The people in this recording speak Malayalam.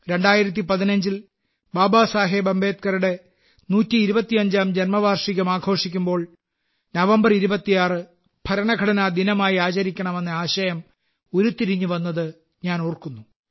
2015 ൽ ബാബാ സാഹിബ് അംബേദ്കറുടെ 125ാം ജന്മവാർഷികം ആഘോഷിക്കുമ്പോൾ നവംബർ 26 ഭരണഘടനാ ദിനമായി ആചരിക്കണമെന്ന ആശയം ഉരുത്തിരിഞ്ഞു വന്നത് ഞാൻ ഓർക്കുന്നു